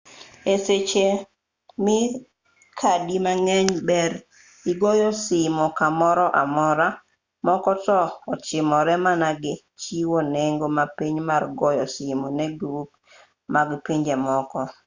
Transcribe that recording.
e seche me kadi mang'eny ber e goyo simu kamoro amora moko to ochimore mana gi chiwo nengo mapiny mar goyo simu ne grup mag pinje moko